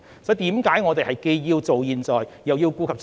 所以，我們既要做好現在，又要顧及將來。